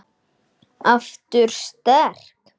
Aftur sterk.